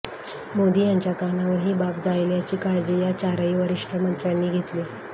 मोदी यांच्या कानावर ही बाब जाईल याची काळजी या चारही वरिष्ठ मंत्र्यांनी घेतली